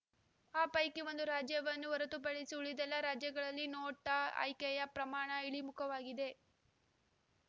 ಆ ಪೈಕಿ ಒಂದು ರಾಜ್ಯವನ್ನು ಹೊರತುಪಡಿಸಿ ಉಳಿದೆಲ್ಲಾ ರಾಜ್ಯಗಳಲ್ಲಿ ನೋಟಾ ಆಯ್ಕೆಯ ಪ್ರಮಾಣ ಇಳಿಮುಖವಾಗಿದೆ